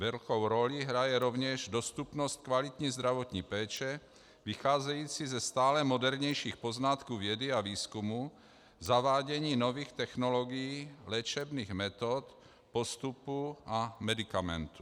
Velkou roli hraje rovněž dostupnost kvalitní zdravotní péče vycházející ze stále modernějších poznatků vědy a výzkumu, zavádění nových technologií, léčebných metod, postupů a medikamentů.